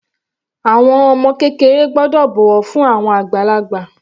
Àwọn ọmọ kékeré gbọ́dọ̀ bọ̀wọ̀ fún àwọn àgbàlagbà.